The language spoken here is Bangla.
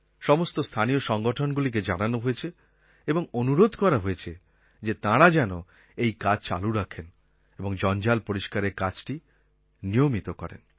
সমস্ত স্থানীয় সংগঠনগুলিকে জানানো হয়েছে এবং অনুরোধ করা হয়েছে যে তারা যেন এই কাজ চালু রাখেন এবং জঞ্জাল পরিষ্কারের কাজটি নিয়মিত করেন